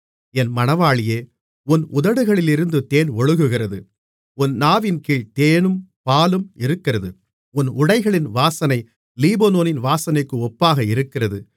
என் மணவாளியே உன் உதடுகளிலிருந்து தேன் ஒழுகுகிறது உன் நாவின்கீழ் தேனும் பாலும் இருக்கிறது உன் உடைகளின் வாசனை லீபனோனின் வாசனைக்கு ஒப்பாக இருக்கிறது